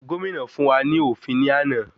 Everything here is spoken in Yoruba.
Gómìnà fún wa ní òfin ní àná.